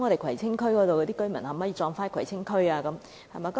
葵青區居民的骨灰可否安放在葵青區？